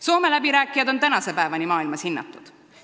Soome läbirääkijad on maailmas tänase päevani hinnatud.